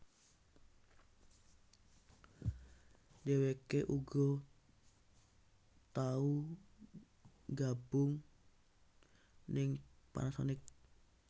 Dheweké uga tau nggabung ning Panasonic